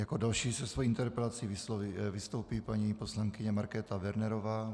Jako další se svojí interpelací vystoupí paní poslankyně Markéta Wernerová.